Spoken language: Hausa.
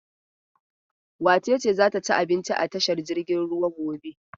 Wace ce za ta ci abinci a tashar jiragen ruwa gobe?